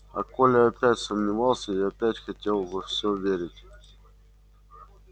а коля опять сомневался и опять хотел во всё верить